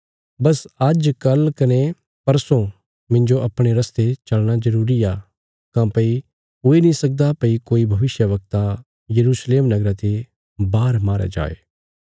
बस आज्ज कल कने परसों मिन्जो अपणे रस्ते चलना जरूरी आ काँह्भई हुई नीं सकदा भई कोई भविष्यवक्ता यरूशलेम नगरा ते वाहर मारया जाये